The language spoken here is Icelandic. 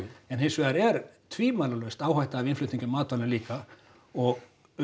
en hins vegar er tvímælalaust áhætta af innflutningi á matvælum líka og